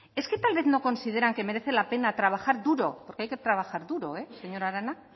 es que tal vez no consideran que merece la pena trabajar duro porque hay que trabajar duro señora arana